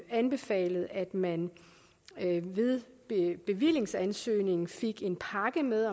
anbefalet at man ved bevillingsansøgning fik en pakke med